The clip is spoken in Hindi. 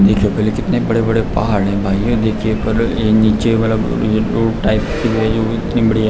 देखिये पहले कितने बड़े-बड़े पहाड़ हैं आईये देखिये ये नीचे वाला टाइप इतनी बढ़िया --